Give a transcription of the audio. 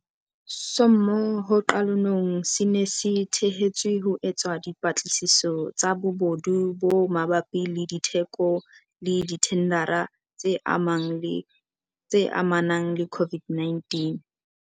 sommo ho qalonong se ne se thehetswe ho etsa dipatlisiso tsa bobodu bo mabapi le ditheko le dithendara tse amanang le COVID.